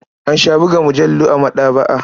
An sha buga mujallu a maɗaba'a.